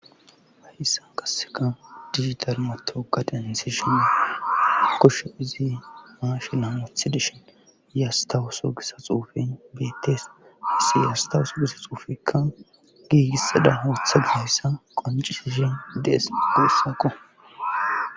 Hayissan qasseka digital matogaden sishen kosho izi maashina mothi deshin yastawuso gissa xuufen beettes issi yastawuso gissa xuufikka giigissada hooththa geyssa qoncisishen dees guussaqo.